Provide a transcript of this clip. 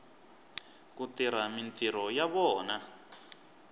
ku tirha mintirho ya vona